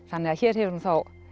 þannig að hér hefur hún